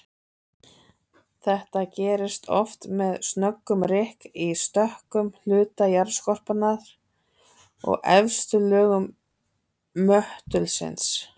Þetta gerist oft með snöggum rykk í stökkum hluta jarðskorpunnar og efstu lögum möttulsins.